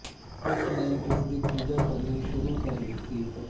ਉਸ ਨੇ ਉਸਦੀ ਪੂਜਾ ਕਰਨੀ ਸੁਰੂ ਕਰ ਦਿਤੀ